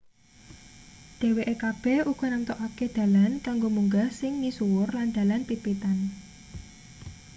dheweke kabeh uga namtokake dalan kanggo munggah sing misuwur lan dalan pit-pitan